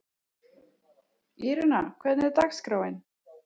Írena, hvernig er dagskráin?